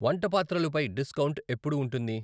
వంటపాత్రలు పై డిస్కౌంట్ ఎప్పుడు ఉంటుంది?